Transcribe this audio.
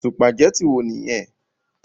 Sùpàgétì wo nìyẹn?